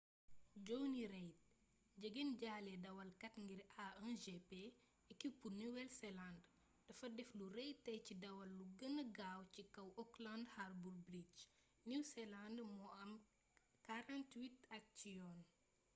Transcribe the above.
jonny reid jegenjaale dawalkat ngir a1gp ekipu nuwel seland dafa def lu rëy tey ci dawal lu gëna gaaw ci kaw auckland harbour bridge new zealand bu am 48 at cii yoon